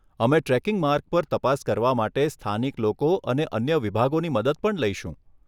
અમે ટ્રેકિંગ માર્ગ પર તપાસ કરવા માટે સ્થાનિક લોકો અને અન્ય વિભાગોની મદદ પણ લઈશું.